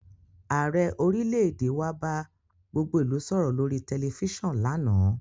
Ààrẹ orílẹ̀èdè wa bá gbogbo ìlú sọ̀rọ̀ lórí tẹ̀lifísàn lánàá